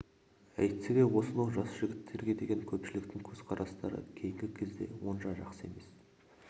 әйтсе де осынау жас жігіттерге деген көпшіліктің көзқарастары кейінгі кезде онша жақсы емес